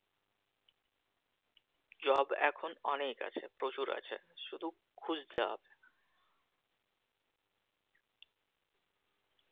job এখন অনেক আছে প্রচুর আছে শুধু খুজতে হবে